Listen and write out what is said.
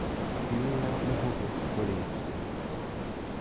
Ti wĩra mũhũthũ kũrĩkia